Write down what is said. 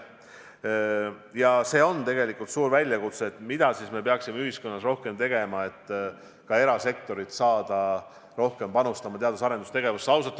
Ja see on tegelikult suur väljakutse – mida me peaksime ühiskonnas rohkem tegema, et saada ka erasektorilt rohkem panust teadus-arendustegevusse?